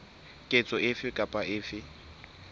ketso efe kapa efe e